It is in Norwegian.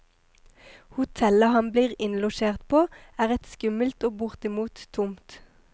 Hotellet han blir innlosjert på, er et skummelt og bortimot tomt.